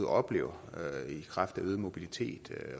oplever i kraft af øget mobilitet